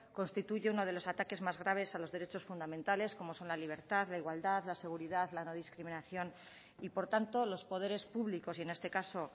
constituye uno de los ataques más graves a los derechos fundamentales como son la libertad la igualdad la seguridad la no discriminación y por tanto los poderes públicos y en este caso